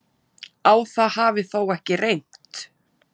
Á það hafi þó ekki reynt